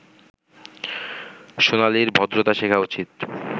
সোনালির ভদ্রতা শেখা উচিত